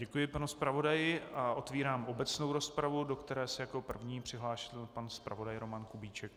Děkuji panu zpravodaji a otvírám obecnou rozpravu, do které se jako první přihlásil pan zpravodaj Roman Kubíček.